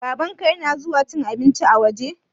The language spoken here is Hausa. Babanka ya na zuwa cin abinci a waje?